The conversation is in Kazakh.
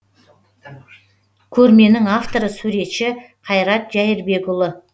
көрменің авторы суретші қайрат жәйірбекұлы